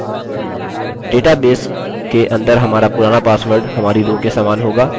data base के अंदर हमारा पुराना पासवर्ड हमारी रो के समान होगा